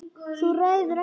Þú ræður ekkert við hann.